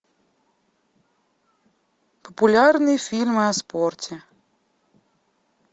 популярные фильмы о спорте